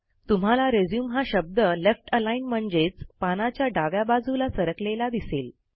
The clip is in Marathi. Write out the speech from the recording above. तुम्हाला रिझ्यूम हा शब्द लेफ्ट अलाईन्ड म्हणजेच पानाच्या डाव्या बाजूला सरकलेला दिसेल